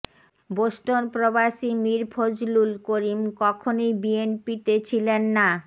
Boston প্রবাসী মীর ফজলুল করিম কখনোই বিএনপিতে ছিলেন না